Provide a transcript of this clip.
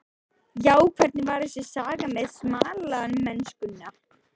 Já, hvernig var þessi saga með smalamennskuna?